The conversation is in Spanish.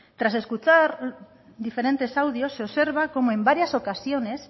tras escuchar diferentes audios se observa como en varias ocasiones